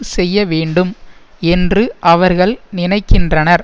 செய்ய வேண்டும் என்று அவர்கள் நினைக்கின்றனர்